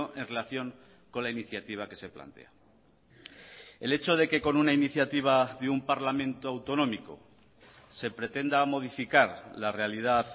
en relación con la iniciativa que se plantea el hecho de que con una iniciativa de un parlamento autonómico se pretenda modificar la realidad